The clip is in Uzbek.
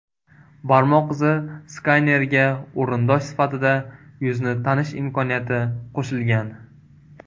Barmoq izi skaneriga o‘rindosh sifatida yuzni tanish imkoniyati qo‘shilgan.